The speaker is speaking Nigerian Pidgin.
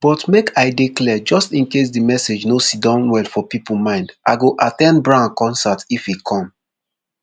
but make i dey clear just incase di message no siddon well for pipo mind i go at ten d brown concert if e come